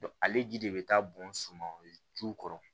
ale ji de bɛ taa bɔn sumanw ju kɔrɔ